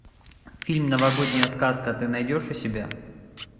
фильм новогодняя сказка ты найдешь у себя